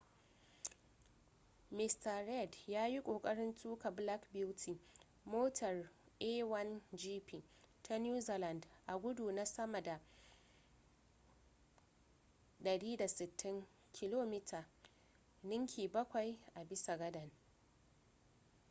mista reid ya yi kokarin tuka black beauty motar a1gp ta new zealand a gudu na sama da 160km / h ninki bakwai a bisa gadan